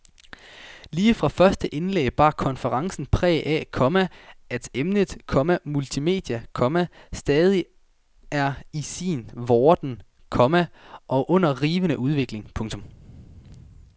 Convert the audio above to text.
Lige fra første indlæg bar konferencen præg af, komma at emnet, komma multimedier, komma stadig er i sin vorden, komma og under rivende udvikling. punktum